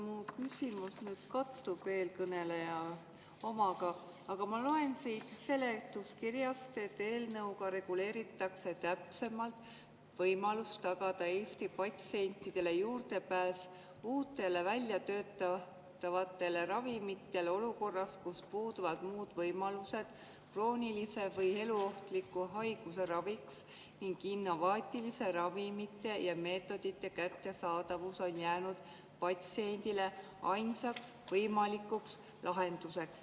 Mu küsimus küll kattub eelkõneleja omaga, aga ma loen seletuskirjast, et eelnõuga reguleeritakse täpsemalt võimalust tagada Eesti patsientidele juurdepääs uutele väljatöötatavatele ravimitele olukorras, kus puuduvad muud võimalused kroonilise või eluohtliku haiguse raviks ning innovaatiliste ravimite ja meetodite kättesaadavus on jäänud patsiendile ainsaks võimalikuks lahenduseks.